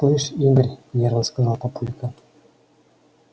слышишь игорь нервно сказал папулька